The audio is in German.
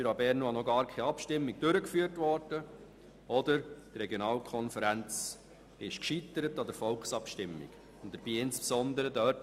Dort wurde entweder noch gar keine Abstimmung durchgeführt – Biel-Seeland/Jura Bernois – oder die Regionalkonferenz ist an der Volksabstimmung gescheitert.